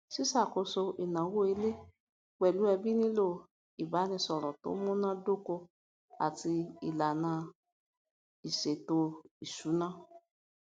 ṣíṣàkóso ìnáwó ilé pẹlú ẹbí nílò ìbánisọrọ tó múnádóko àti ìlànà ìṣètò isuná